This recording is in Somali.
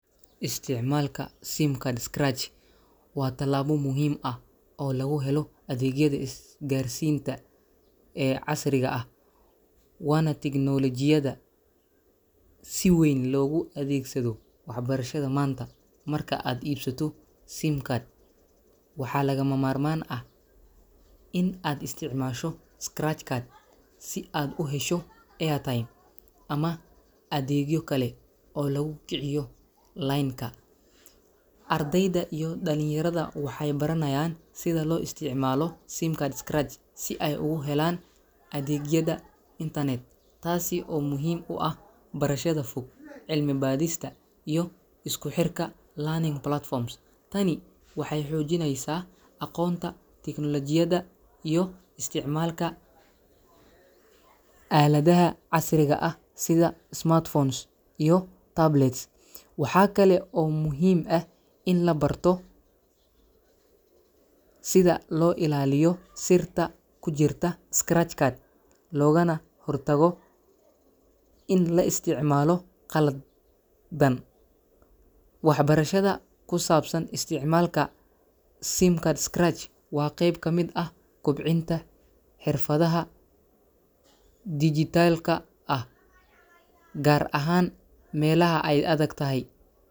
Isticmaalka simcard scratch waa tallaabo muhiim ah oo lagu helo adeegyada isgaarsiinta ee casriga ah, waana teknoolajiyada si weyn loogu adeegsado waxbarashada maanta. Marka aad iibsato simcard, waxaa lagamamarmaan ah in aad isticmaasho scratch card si aad u hesho airtime ama adeegyo kale oo lagu kiciyo line-ka. Ardayda iyo dhalinyarada waxay baranayaan sida loo isticmaalo simcard scratch si ay ugu helaan adeegyada internet, taasi oo muhiim u ah barashada fog, cilmi-baadhista, iyo isku xirka e-learning platforms. Tani waxay xoojinaysaa aqoonta tiknoolajiyadda iyo isticmaalka aaladaha casriga ah sida smartphones iyo tablets. Waxaa kale oo muhiim ah in la barto sida loo ilaaliyo sirta ku jirta scratch card, loogana hortago in la isticmaalo khal dan. Waxbarashada ku saabsan isticmaalka simcard scratch waa qayb ka mid ah kobcinta xirfadaha dijitaalka ah, gaar ahaan meelaha ay adag tahay.